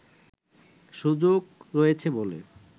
সুযোগ রয়েছে বলে